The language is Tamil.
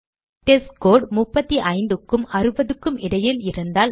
டெஸ்ட்ஸ்கோர் 35 க்கும் 60 க்கும் இடையில் இருந்தால்